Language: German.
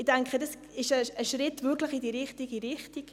Ich denke, dies ist wirklich ein Schritt in die richtige Richtung.